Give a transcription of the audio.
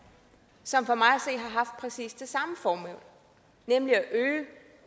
som for mig at præcis det samme formål nemlig at øge